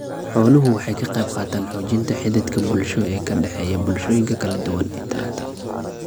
Xooluhu waxay ka qaybqaataan xoojinta xidhiidhka bulsho ee ka dhexeeya bulshooyinka kala duwan ee taranta.